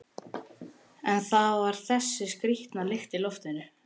En það var þessi skrýtna lykt í loftinu.